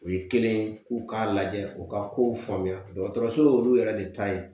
O ye kelen ye k'u k'a lajɛ u ka kow faamuya dɔgɔtɔrɔso yɛrɛ de ta ye